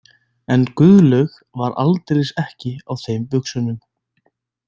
En Guðlaug var aldeilis ekki á þeim buxunum.